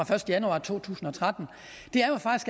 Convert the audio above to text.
første januar to tusind og tretten